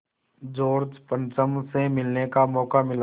George पंचम से मिलने का मौक़ा मिला